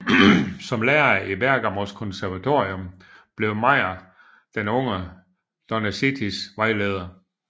Som lærer i Bergamos konservatorium blev Mayr den unge Donizettis vejleder